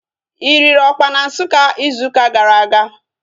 Ị riri ọkpa na Nsukka izu ụka gara aga?